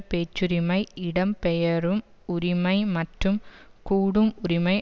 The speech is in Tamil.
பேச்சுரிமை இடம் பெயரும் உரிமை மற்றும் கூடும் உரிமை